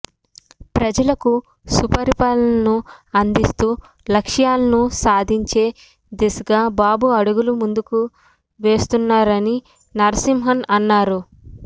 ప్రజలకు సుపరిపాలనను అందిస్తూ లక్ష్యాలను సాధించే దిశగా బాబు అడుగులు ముందుకు వేస్తున్నారని నరసింహన్ అన్నారు